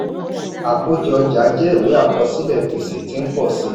àkójọ ọjà jẹ ìwé àkọsílẹ̀ gbèsè tí ń pọ̀ sí i.